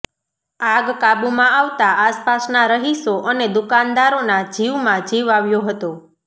આગ કાબુમાં આવતા આસપાસના રહીશો અને દુકાનદારોના જીવમાં જીવ આવ્યો હતો